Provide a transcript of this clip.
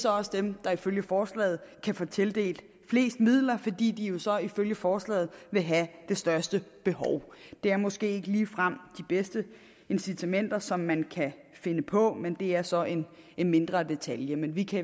også er dem der ifølge forslaget kan få tildelt flest midler fordi de jo så ifølge forslaget vil have det største behov det er måske ikke ligefrem det bedste incitament som man kan finde på men det er så en mindre detalje men vi kan